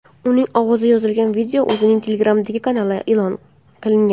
Uning ovozi yozilgan video o‘zining Telegram’dagi kanalida e’lon qilingan .